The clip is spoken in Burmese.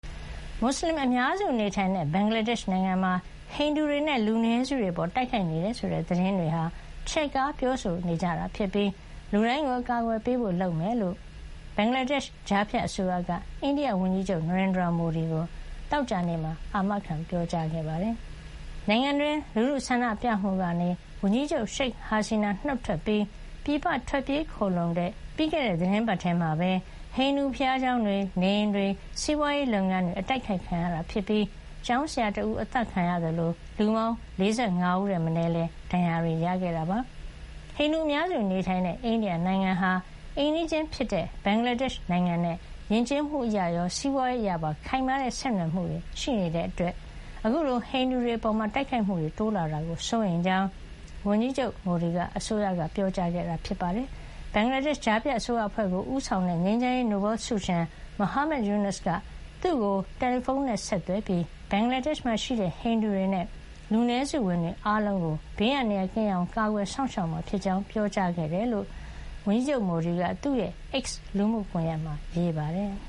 မွတ်စလင်အများစုနေထိုင်တဲ့ ဘင်္ဂလားဒေ့ရှ်မှာ ဟိန္ဒူတွေနဲ့ လူနည်းစုတွေအပေါ် တိုက်ခိုက်နေတယ်ဆိုတဲ့ သတင်းတွေဟာ ချဲ့ကား ပြောဆိုကြတာဖြစ်ပြီး လူတိုင်းကို အကာအကွယ်ပေးဖို့ လုပ်ဆောင်မှာဖြစ်ကြောင်း ဘင်္ဂလားဒေ့ရှ် ကြားဖြတ်အစိုးရက အိန္ဒိယဝန်ကြီးချုပ် နရိန်ဒရာမိုဒီကို သောကြာနေ့မှာ အာမခံ ပြောကြားခဲ့ပါတယ်။ နိုင်ငံတွင်း လူထုဆန္ဒပြမှုကနေ ဝန်ကြီးချုပ် ရှိတ်ဟာစီနာ နှုတ်ထွက်ပြီး ပြည်ပထွက်ပြေးခိုလှုံတဲ့ ပြီးခဲ့တဲ့သီတင်းပတ် ထဲမှာပဲ ဟိန္ဒူဘုရားကျောင်းတွေ၊ နေအိမ်တွေ၊ စီးပွါးရေးလုပ်ငန်းတွေ အတိုက်ခိုက်ခံရပြီး ကျောင်းဆရာတဦး အသတ်ခံရသလို လူပေါင်း ၄၅ ဦးထက် မနည်းလည်း ဒဏ်ရာတွေရခဲ့တာပါ။ ဟိန္ဒူအများစုနေထိုင်တဲ့ အိန္ဒိယနိုင်ငံဟာ အိမ်နီးချင်းဖြစ်တဲ့ ဘင်္ဂလားဒေ့ရှ်နိုင်ငံနဲ့ ယဉ်ကျေးမှုအရရော၊ စီးပွါးရေး အရပါ ခိုင်မာတဲ့ ဆက်နွယ်မှု ရှိနေတာကြောင့် အခုလို ဟိန္ဒူတွေအပေါ် တိုက်ခိုက်မှုတွေ တိုးလာတာကို စိုးရိမ်ကြောင်း မိုဒီ အစိုးရက ပြောကြားခဲ့ပါတယ်။ ဘင်္ဂလားဒေ့ရှ် ကြားဖြတ်အစိုးရအဖွဲ့ကို ဦးဆောင်တဲ့ ငြိမ်းချမ်းရေးနိုဘယ်လ်ဆုရှင် Muhammad Yunus က သူ့ကို တယ်လီဖုန်းနဲ့ ဆက်သွယ်ပြီး ဘင်္ဂလားဒေ့ရှ်မှာရှိတဲ့ ဟိန္ဒူတွေနဲ့ လူနည်းစုဝင်တွေ အားလုံးကို ဘေးအန္တရာယ်ကင်းအောင် ကာကွယ်စောင့်ရှောက်မှာဖြစ်ကြောင်း ပြောကြားခဲ့တယ်လို့ ဝန်ကြီးချုပ် မိုဒီက သူ့ရဲ့ X လူမှုကွန်ယက်မှာ ရေးပါတယ်။